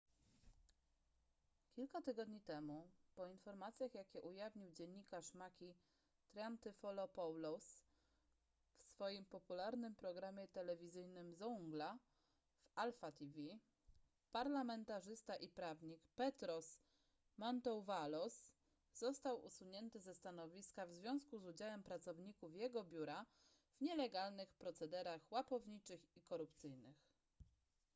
kilka tygodni temu po informacjach jakie ujawnił dziennikarz makis triantafylopoulos w swoim popularnym programie telewizyjnym zoungla w alpha tv parlamentarzysta i prawnik petros mantouvalos został usunięty ze stanowiska w związku z udziałem pracowników jego biura w nielegalnych procederach łapowniczych i korupcyjnych